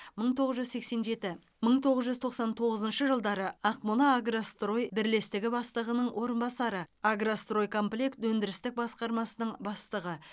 мың тоғыз жүз сексен жеті мың тоғыз жүз тоқсан тоғызыншы жылдары ақмолаагрострой бірлестігі бастығының орынбасары агростройкомплект өндірістік басқармасының бастығы